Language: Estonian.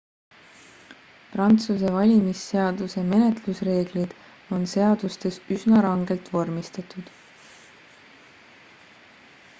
prantsuse valimisseaduse menetlusreeglid on seadustes üsna rangelt vormistatud